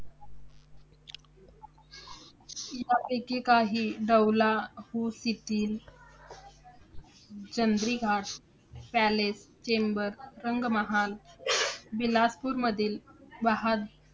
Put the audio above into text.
शिलांपैकी काही डौलाहु शिथिल चंद्रीघाट पॅलेस, चेंबर, रंगमहाल विलासपूरमधील वाहज